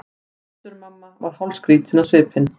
Össur-Mamma var hálfskrýtinn á svipinn.